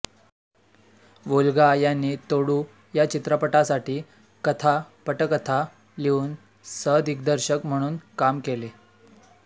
Volga यांनी तोडू या चित्रपटासाठी कथा पटकथा लिहून सहदिग्दर्शक म्हणून काम केले